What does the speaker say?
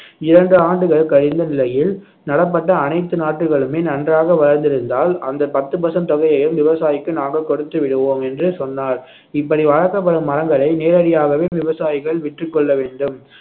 இரண்டு ஆண்டுகள் கழிந்த நிலையில் நடப்பட்ட அனைத்து நாற்றுகளுமே நன்றாக வளர்ந்திருந்தால் அந்த பத்து percent தொகையையும் விவசாயிக்கு நாங்கள் கொடுத்து விடுவோம் என்று சொன்னார் இப்படி வளர்க்கப்படும் மரங்களை நேரடியாகவே விவசாயிகள் விற்றுக் கொள்ள வேண்டும்